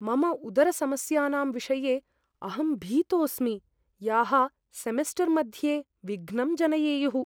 मम उदरसमस्यानां विषये अहं भीतोस्मि, याः सेमिस्टर् मध्ये विघ्नं जनयेयुः।